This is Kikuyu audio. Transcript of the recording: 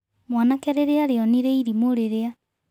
Mwanake rĩria arĩonire irimũ rĩrĩa .